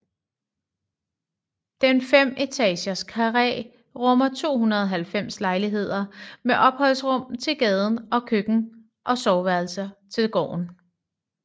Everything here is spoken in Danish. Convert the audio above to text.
Den femetages karré rummer 290 lejligheder med opholdsrum til gaden og køkken og soveværelser til gården